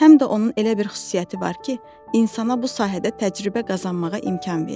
Həm də onun elə bir xüsusiyyəti var ki, insana bu sahədə təcrübə qazanmağa imkan verir.